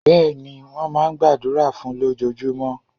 Béèni, wón máa n gbàdúrà fún un lójojúmó